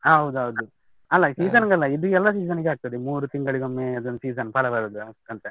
ಹೌದೌದು, ಅಲ್ಲ season ಗಲ್ಲ ಇದು ಎಲ್ಲ season ಗೆ ಆಗ್ತದೆ, ಮೂರು ತಿಂಗಳಿಗೊಮ್ಮೆ ಅದೊಂದು season ಫಲ ಬರುದು ಅಂತ.